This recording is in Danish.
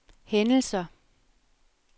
hændelser